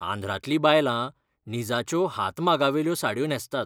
आंध्रांतलीं बायलां निजाच्यो हातमागावेल्यो साडयो न्हेसतात.